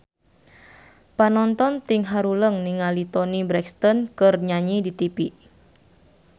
Panonton ting haruleng ningali Toni Brexton keur nyanyi di tipi